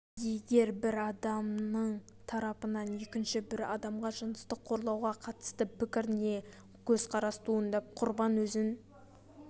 егер бір адамның тарапынан екінші бір адамға жыныстық қорлауға қатысты пікір не көзқарас туындап құрбан өзін